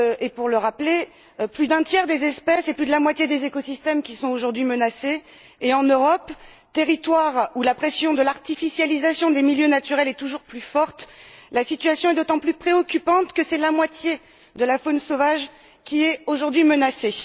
Pour rappel, plus d'un tiers des espèces et plus de la moitié des écosystèmes sont aujourd'hui menacés, et en Europe, territoire où la pression de l'artificialisation des milieux naturels est toujours plus forte, la situation est d'autant plus préoccupante que c'est la moitié de la faune sauvage qui est aujourd'hui menacée.